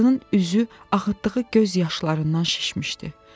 Qadının üzü axıtdığı göz yaşlarından şişmişdi.